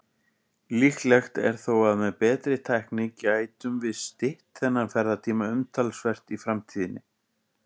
Líklegt er þó að með betri tækni gætum við stytt þennan ferðatíma umtalsvert í framtíðinni.